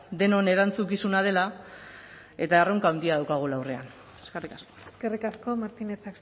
denon erantzukizuna dela eta erronka handia daukagula aurrean eskerrik asko eskerrik asko martinez